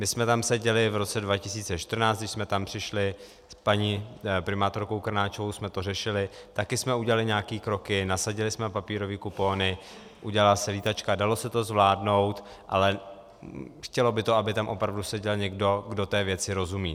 My jsme tam seděli v roce 2014, když jsme tam přišli, s paní primátorkou Krnáčovou jsme to řešili, taky jsme udělali nějaké kroky, nasadili jsme papírové kupony, udělala se Lítačka, dalo se to zvládnout, ale chtělo by to, aby tam opravdu seděl někdo, kdo té věci rozumí.